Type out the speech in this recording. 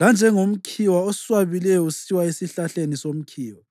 lanjengomkhiwa oswabileyo usiwa esihlahleni somkhiwa.